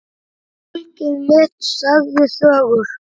Fólkið mitt sagði sögur.